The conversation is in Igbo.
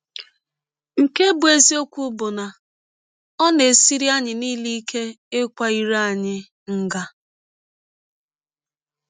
Nke bụ́ eziọkwụ bụ na ọ na - esiri anyị niile ike ịkwa ire anyị nga.